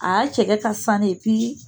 A y'a cɛgɛ ka sanu